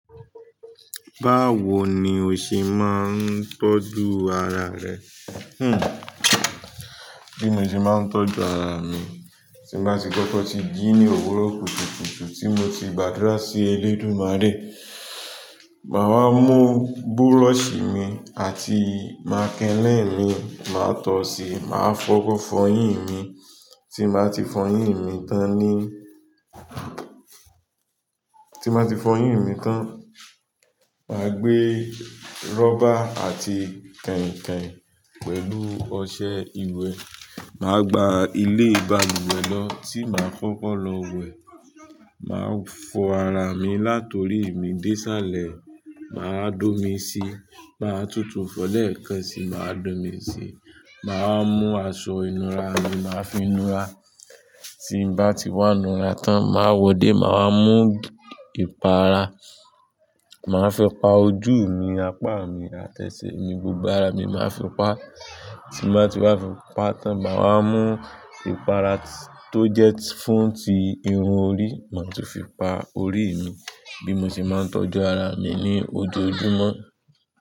Báwo ni o ṣe máa ń tọ́jú ara rẹ? Hmm. Bí mo ṣe máa ń tọ́jú ara mi, tí bá ti kọ́kọ́ ti jí ní òwúrọ̀ kùtùkùtù tí mo ti gbàdúrà sí Elédumare, màá wáa mú búrọ̀sì mi àti màkélẹ̀ mi, màá tọ̀ ọ́ síí, màá fọ́kọ́ fọyín mi, tí màá ti fọyín mi tán ní, tí màá ti fọyín mi tán, màá gbé rọ́bà àti kẹ̀ǹkẹ̀ǹ pẹ̀lú ọṣẹ ìwẹ̀, màá gba ilé ibà luwẹ̀ lọ tí màá koko lọ wẹ̀. Màá fọ ara mi, látọ̀rí mi dé sáàlẹ̀, màá dómì sí, màá tutù fọlẹ̀ẹ́kẹ̀ẹ́ sí, màá dómì sí, màá mú aṣọ ìnura mi, màá fínura. Tí bá ti wá nura tán, màá wọdé, màá mú ìpara, màá fi pa ojú mi, apá mi, àti ẹ́sẹ̀ mi, gbogbo ara mi màá fi pa. Tí mbàá ti wá fi pa tán, màá wá mú ìpara tó jẹ́ fun ti irun orí, màá tu fi pa orí mi. Bí mo ṣe máa ń tọ́jú ara mi ní ojoojúmọ́.